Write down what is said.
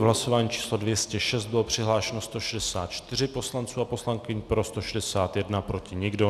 V hlasování číslo 206 bylo přihlášeno 164 poslanců a poslankyň, pro 161, proti nikdo.